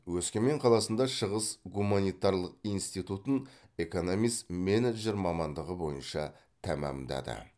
өскемен қаласында шығыс гуманитарлық институтын экономист менеджер мамандығы бойынша тәмамдады